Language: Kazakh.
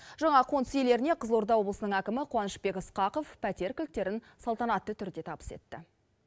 жаңа қоныс иелеріне қызылорда облысының әкімі қуанышбек ысқақов пәтер кілттерін салтанатты түрде табыс етті